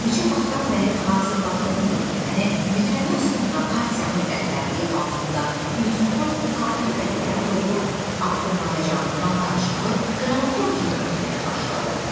Neçə vaxtdan bəri hazırladığı müqəddiməni bitirəndən sonra partiyanın rəhbərliyi altında institutun tarixi qələbələrə doğru addımlayacağından danışmağı qramafon kimi ötməyə başladı.